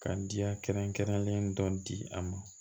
Ka diya kɛrɛnkɛrɛnlen dɔ di a ma